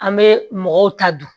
An bɛ mɔgɔw ta dun